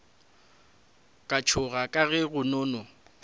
ka tšhoga ka ge kgonono